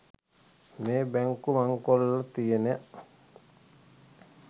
මේ බැංකු මංකොල්ල තියෙන